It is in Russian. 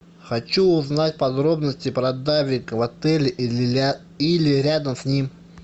хочу узнать подробности про дайвинг в отеле или рядом с ним